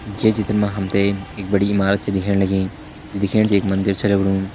ये चित्र मा हम तैं एक बड़ी इमारत छ दिखेण लगीं जू दिखेण मा एक मंदिर छ लगणू।